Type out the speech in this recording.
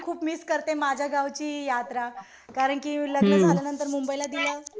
मी खूप मिस करते माझ्या गावची यात्रा. कारण कि लग्न झाल्यानंतर मुंबईला दिलं.